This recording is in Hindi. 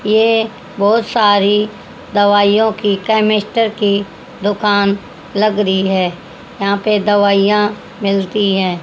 ये बहोत सारी दवाइयो की केमेस्टर की दुकान लग रही हैं यहा पे दवाइयां मिलती हैं।